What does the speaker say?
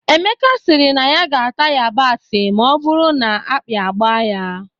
Emeka sịrị na ọ ga-ata yabasị ma ọ bụrụ na agbi a gbaa ya